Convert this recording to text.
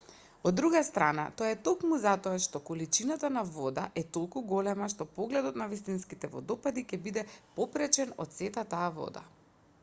од друга страна тоа е токму затоа што количината на вода е толку голема што погледот на вистинските водопади ќе биде попречен од сета таа вода